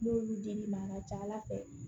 N'olu dir'i ma a ka ca ala fɛ